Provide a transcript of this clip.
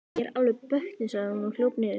Ég er alveg bötnuð, sagði hún og hljóp niður.